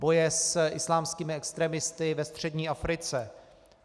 Boje s islámskými extremisty ve střední Africe.